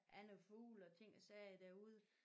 Andre fugle og ting og sager derude